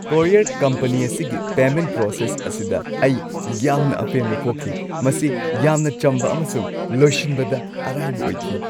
Courier company ꯑꯁꯤꯒꯤ payment process ꯑꯁꯤꯗ ꯑꯩ ꯌꯥꯝꯅ ꯑꯄꯦꯟꯕ ꯄꯣꯛꯈꯤ꯫ ꯃꯁꯤ ꯌꯥꯝꯅ ꯆꯝꯕ ꯑꯃꯁꯨꯡ ꯂꯣꯏꯁꯤꯟꯕꯗ ꯑꯔꯥꯏꯕ ꯑꯣꯏꯈꯤ ꯫